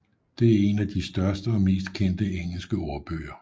Det er en af de største og mest kendte engelske ordbøger